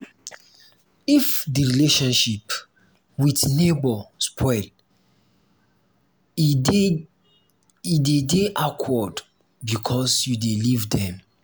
if di relationship with neighbour spoil e dey de awkward because you dey live dem